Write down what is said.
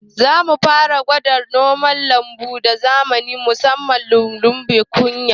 Zamu fara gwada dabarun noman lambu na zamani musamman lulluɓe kunya